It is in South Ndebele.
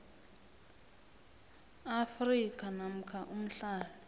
afrika namkha umhlali